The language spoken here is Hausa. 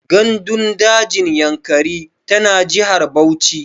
Gandun dajin Yankari tana jihar Bauchi.